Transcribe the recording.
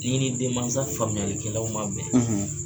N'i ni denmansa faamuyalikɛlaw ma bɛn